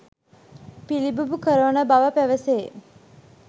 පිළිබිඹු කරවන බව පැවසේ.